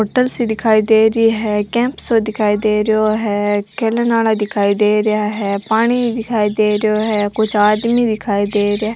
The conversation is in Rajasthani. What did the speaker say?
होटल सी दिखाई दे रही है कैंप सो दिखाई दे रियो है खेलन आला दिखाई दे रिया है पानी दिखाई दे रियो है कुछ आदमी दिखाई दे रिया।